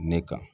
Ne kan